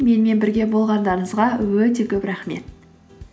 менімен бірге болғандарыңызға өте көп рахмет